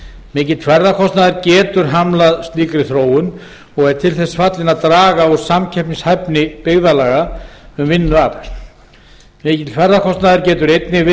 mikill ferðakostnaður getur hamlað slíkri þróun og er til þess fallinn að draga úr samkeppnishæfni byggðarlaga um vinnuafl mikill ferðakostnaður getur einnig